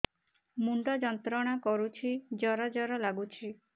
ମୁଣ୍ଡ ଯନ୍ତ୍ରଣା କରୁଛି ଜର ଜର ଲାଗୁଛି